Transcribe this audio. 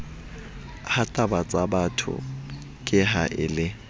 hatabatsabatho ke ha a le